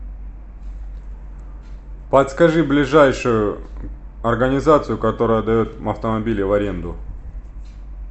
подскажи ближайшую организацию которая дает автомобили в аренду